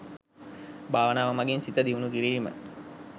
භාවනාව මගින් සිත දියුනු කිරීම